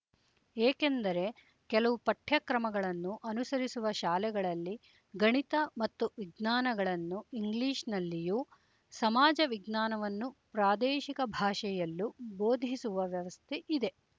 ಏಕೆಂದರೆ ಕೆಲವು ಪಠ್ಯಕ್ರಮಗಳನ್ನು ಅನುಸರಿಸುವ ಶಾಲೆಗಳಲ್ಲಿ ಗಣಿತ ಮತ್ತು ವಿಜ್ಞಾನಗಳನ್ನು ಇಂಗ್ಲಿಶ್ ನಲ್ಲಿಯೂ ಸಮಾಜವಿಜ್ಞಾನವನ್ನು ಪ್ರಾದೇಶಿಕ ಭಾಷೆಯಲ್ಲೂ ಬೋಧಿಸುವ ವ್ಯವಸ್ಥೆ ಇದೆ